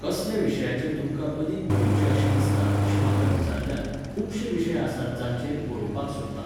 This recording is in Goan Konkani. कसल्या विशयाचेर तुमकां अदीक बरोवचें अशें दिसता अशें म्हाका विचारल्यार, खुबशे विशय आसात जांचेर बरोवपाक सोदतां.